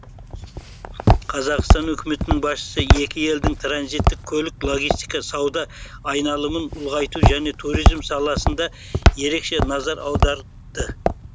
қазақстан үкіметінің басшысы екі елдің транзиттік көлік логистика сауда айналымын ұлғайту және туризм саласында ерекше назар аударды